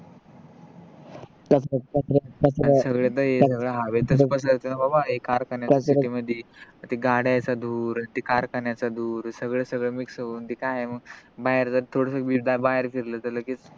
हे तर सगळ तर हवेतच पसरत न रे बाबा एका अर्थान city मधी ते गाड्याचा धूर ते कारखान्याचा धूर सगळ सगळ mix होवून ते काय आहे न मग बाहेर जर थोडीसी विद आहे बाहेर फिरलं तर लगेच